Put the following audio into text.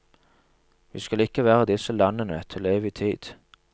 Vi skal ikke være i disse landene til evig tid.